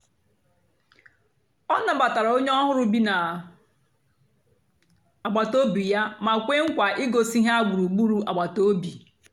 ọ nàbàtàra ònyè ọ̀hụrụ́ bì na àgbátobị̀ yà mà kwéè nkwa ìgòsí ha gbùrùgbùrù àgbàtà òbì.